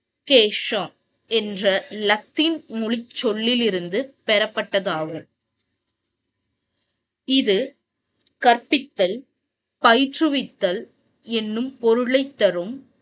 கேசா என்ற லத்தீன் மொழி சொல்லிலிருந்து பெறப்பட்டதாகும். இது கற்பித்தல் பயிற்றுவித்தல் என்றும் பொருளை தரும்.